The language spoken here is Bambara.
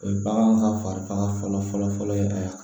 O ye bagan ka fari faga fɔlɔ fɔlɔ ye a